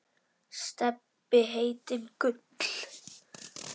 Stebbi heitinn Gull.